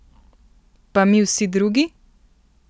Pa mi vsi drugi?